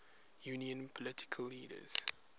union political leaders